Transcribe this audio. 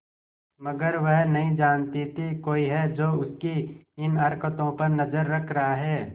मगर वह नहीं जानती थी कोई है जो उसकी इन हरकतों पर नजर रख रहा है